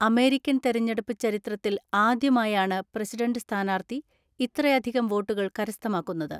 American തെരഞ്ഞെടുപ്പ് ചരിത്രത്തിൽ ആദ്യമായാണ് പ്രസിഡന്റ് സ്ഥാനാർത്ഥി ഇത്രയധികം വോട്ടുകൾ കരസ്ഥമാക്കുന്നത്.